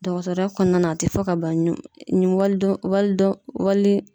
Dɔgɔtɔrɔya kɔnɔna na , a tɛ fɔ ka ban wali dɔn wali dɔn wali